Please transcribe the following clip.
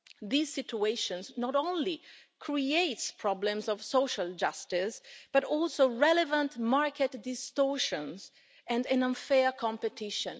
These situations not only create problems of social justice, but also relevant market distortions and unfair competition.